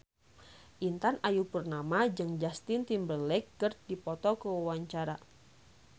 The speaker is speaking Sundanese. Intan Ayu Purnama jeung Justin Timberlake keur dipoto ku wartawan